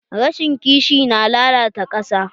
Rashin ƙishi na lalata ƙasa.